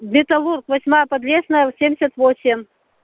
металлург восьмая подлесная семьдесят восемь